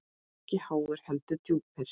Og ekki háir, heldur djúpir.